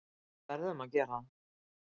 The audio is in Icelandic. Við verðum að gera það.